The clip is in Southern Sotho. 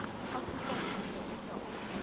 a supasupa e ka o